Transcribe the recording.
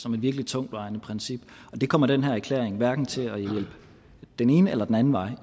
som et virkelig tungtvejende princip og det kommer den her erklæring hverken til at hjælpe den ene eller den anden vej